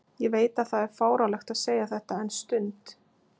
Ég veit að það er fáránlegt að segja þetta en stund